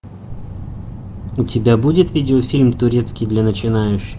у тебя будет видеофильм турецкий для начинающих